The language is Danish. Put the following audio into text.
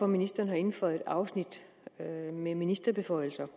ministeren har indføjet et afsnit med ministerbeføjelser